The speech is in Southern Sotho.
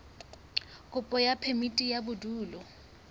kopo ya phemiti ya bodulo